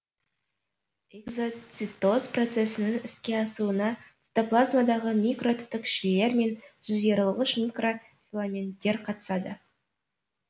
экзоцитоз процесінің іске асуына цитоплазмадағы микротүтікшелер мен жиырылғыш микрофиламенттер қатысады